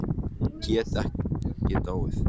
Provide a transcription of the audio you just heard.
Geta ekki dáið.